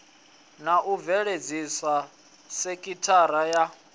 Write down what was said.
na u bveledzisa sekithara ya